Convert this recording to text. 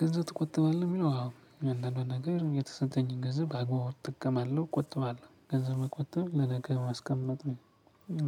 ገንዘብ ትቆጥባለህ የሚለው? አዎ እያንዳንዷን ነገር የተሰጠኝን ገንዘብ በአግባቡ እጠቀማለው ቆጥባለሁ ገንዘብ መቆጠብ ለነገ ማስቀመጥ ነው